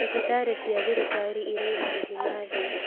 Thibitarĩ cia thirikari irĩ marĩhi ma thĩ